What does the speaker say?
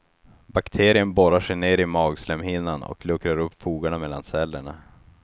Bakterien borrar sig ner i magslemhinnan och luckrar upp fogarna mellan cellerna.